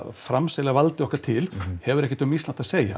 framselja valdið okkar til hefur ekkert um Ísland að segja